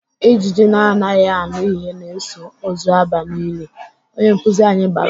Ijiji na-anaghị anụ ihe na-eso ozu aba n'ili!"Onye nkuzi anyị bara.